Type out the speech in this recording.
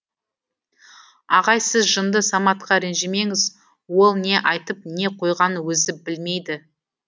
ағай сіз жынды саматқа ренжімеңіз ол не айтып не қойғанын өзі білмейді